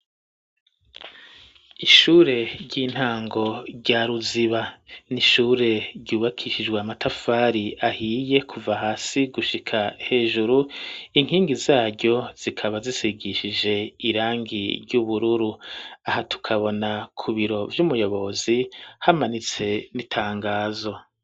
Ishure ry'intango rya ruziba n'ishure ryubakishijwe amatafari ahiye kuva hasi gushika hejuru inkingi zaryo zikaba zisigishije irangi ry'ubururu aha tukabona ku biro vy'umuyobozi hamanitse itangazo.